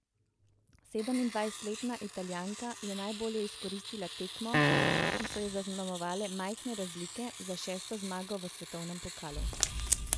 Sedemindvajsetletna Italijanka je najbolje izkoristila tekmo, ki so jo zaznamovale majhne razlike, za šesto zmago v svetovnem pokalu.